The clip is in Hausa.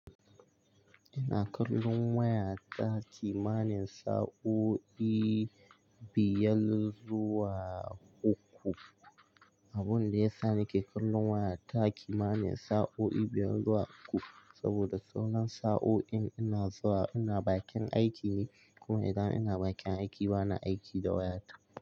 Ina kallon waya ta, ki ma nin sa'o'i biyar zuwa uku. Abun da ya sa nake kallon waya ta kimanin sa'o'i biyar zuwa uku, saboda tsawon sa'o'in ina zuwa ina bakin aiki ne, kuma idan ina bakin aiki bana aiki da waya ta.